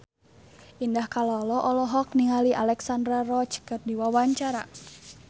Indah Kalalo olohok ningali Alexandra Roach keur diwawancara